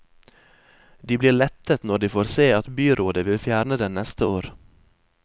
De blir lettet når de får se at byrådet vil fjerne den neste år.